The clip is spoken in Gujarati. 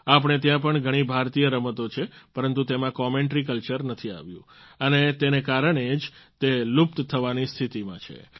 આપણે ત્યાં પણ ઘણી ભારતીય રમતો છે પરંતુ તેમાં કોમેન્ટરી કલ્ચર નથી આવ્યું અને તેને કારણે જ તે લુપ્ત થવાની સ્થિતીમાં છે